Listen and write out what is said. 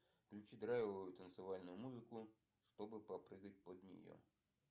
включи драйвовую танцевальную музыку чтобы попрыгать под нее